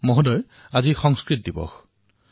মহোহয় অদ্য সংস্কৃত দিনমস্তি